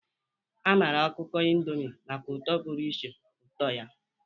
A maara ọkụkọ Indomi maka ụtọ pụrụ iche, ụtọ ya.